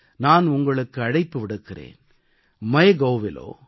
இந்த முறையும் கூட நான் உங்களுக்கு அழைப்பு விடுக்கிறேன்